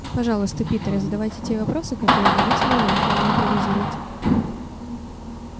пожалуйста питер задавайте те вопросы которые наметила я а не импровизируйте